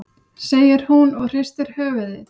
segir hún og hristir höfuðið.